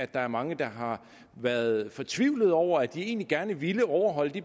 der er mange der har været fortvivlede over at de egentlig gerne ville overholde de